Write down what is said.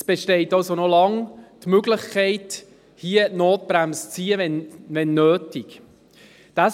Es besteht also noch lange die Möglichkeit, hier die Notbremse zu ziehen, falls das nötig sein sollte.